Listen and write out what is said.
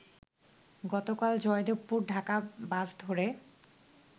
গতকাল জয়দেবপুর-ঢাকা বাস ধরে